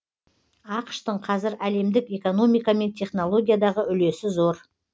ақш тың қазір әлемдік экономика мен технологиядағы үлесі зор